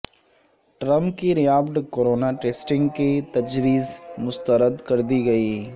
Trump کی rapid corona testing کی تجویز مسترد کر دی گئی